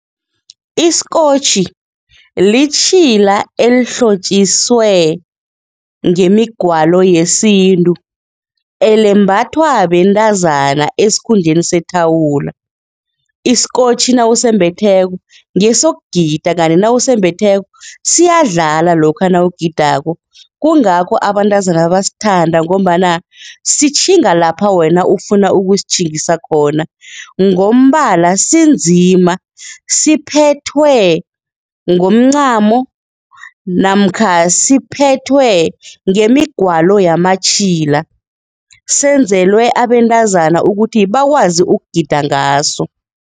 Isikotjhi litjhila elihlotjiswe ngemigwalo yesintu, elembathwa bentazana esikhundleni sethawula, isikotjhi nawusembetheko ngesekugida kanti nawusembetheko siyadlala lokha nakugidako kungakho abantazana basithanda ngombana sitjhinge lapha wena ufuna ukusitjhingisa khona, ngombala sinzima, siphethwe ngomncamo namkha siphethwe ngemigwalo yamatjhila senzelwe abentazana ukuthi bakwazi ukugida ngaso.